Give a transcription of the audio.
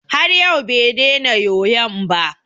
Har yau bai dena yoyon ba.